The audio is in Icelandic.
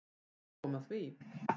Gáum að því.